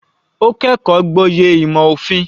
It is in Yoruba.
Ó kẹ́kọ̀ọ́ gboyè ìmò òfin.